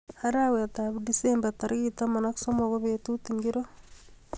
Arawetab Disemba tarij taman ak somok ko betut ingiro